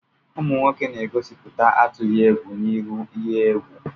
Ụmụ nwoke na-egosipụta atughị egwu n'ihu ihe egwù.